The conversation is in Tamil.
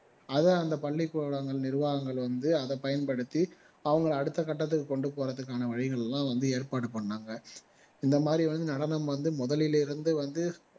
அதை அந்த பள்ளிக்கூடங்கள் நிர்வாகங்கள் வந்து அதை பயன்படுத்தி அவங்க அடுத்த கட்டத்துக்கு கொண்டுபோறதுக்கான வழிகள் எல்லாம் வந்து ஏற்பாடு பண்ணாங்க இந்த மாதிரி வந்து நடனம் வந்து முதலில் இருந்து வந்து